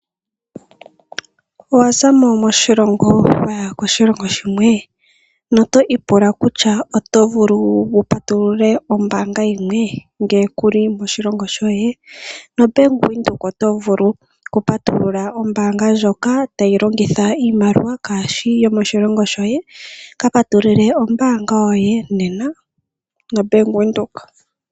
Owa zamo moshilongo wa ya koshilongo shimwe? Noto ipula kutya oto vulu wu patulule ombaanga yimwe ngele ku li moshilongo shoye? NoBank Windhoek oto vulu oku patulula ombaanga ndjoka tayi longitha iimaliwa kaayishi yomoshilongo shoye. Ka patulule ombaanga yoye nena noBank Windhoek.